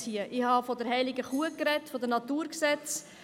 Ich habe von der heiligen Kuh gesprochen, von den Naturgesetzen.